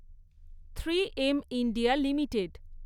three M India limited